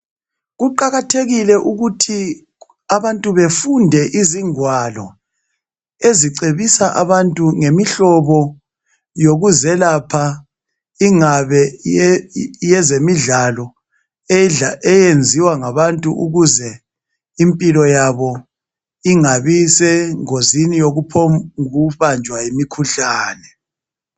Kuqakathekile ukuthi abantu befunde izingwalo ezicebisa abantu ngemihlobo yokuzelapha ingabe yezemidlalo eyenziwa ngabantu ukuze impilo yabo ingabisengozini yokubanjwa yimikhuhlane kalula nje.